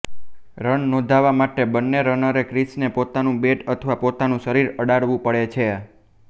run નોંધાવા માટે બન્ને રનરે ક્રિસને પોતાનું બેટ અથવા પોતાનું શરીર અડાડવું પડે છે